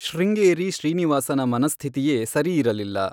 ಶೃಂಗೇರಿ ಶ್ರೀನಿವಾಸನ ಮನಸ್ಥಿತಿಯೇ ಸರಿಯಿರಲಿಲ್ಲ.